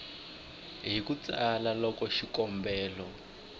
hi ku tsala loko xikombelo